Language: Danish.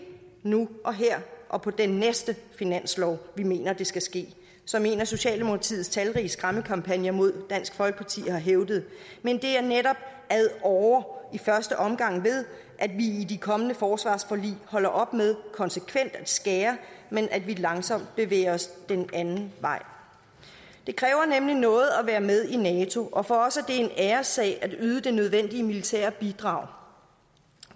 nu og her og på den næste finanslov vi mener det skal ske som en af socialdemokratiets talrige skræmmekampagner mod dansk folkeparti har hævdet men det er netop ad åre og i første omgang ved at vi i de kommende forsvarsforlig holder op med konsekvent at skære men at vi langsomt bevæger os den anden vej det kræver nemlig noget at være med i nato og for os er det en æressag at yde det nødvendige militære bidrag